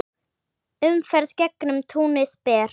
Umferð gegnum túnið ber.